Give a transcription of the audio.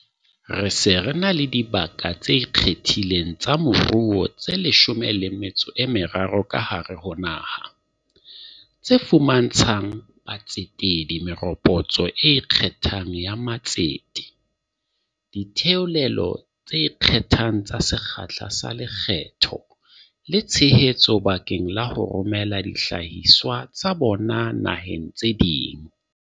Re se re na le dibaka tse ikgethileng tsa moruo tse 13 ka hare ho naha, tse fuma ntshang batsetedi meropotso e ikgethang ya matsete, ditheolelo tse ikgethang tsa sekgahla sa lekgetho le tshe hetso bakeng la ho romela dihlahiswa tsa bona naheng tse ding.